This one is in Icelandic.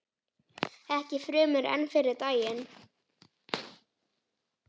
Ekki fremur en fyrri daginn.